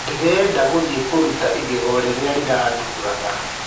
Ndĩreda gũthie kũruta igego rĩrĩa rĩranduraga.